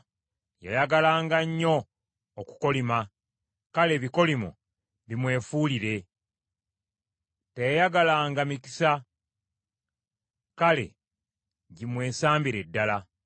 Yayagalanga nnyo okukolima; kale ebikolimo bimwefuulire. Teyayagalanga mikisa; kale gimwesambire ddala!